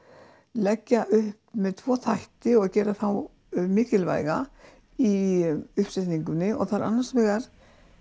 leggja upp með tvo þætti og gera þá mikilvæga í uppsetningunni og það er annars vegar